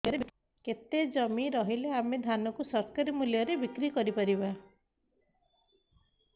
କେତେ ଜମି ରହିଲେ ଆମେ ଧାନ କୁ ସରକାରୀ ମୂଲ୍ଯରେ ବିକ୍ରି କରିପାରିବା